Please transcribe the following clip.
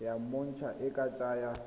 ya monontsha e ka tsaya